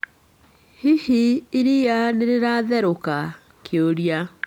Hihi iria nĩ rĩatherũka?